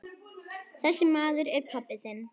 Þessi maður er pabbi þinn.